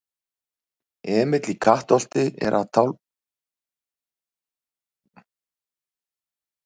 Emil í Kattholti að tálga einn af sínum mörgu spýtukörlum.